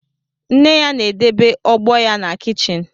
Nne ya na-edebe ogbo ya na kichin